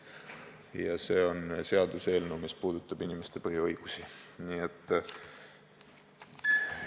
Ja see on seaduseelnõu, mis puudutab inimeste põhiõigusi!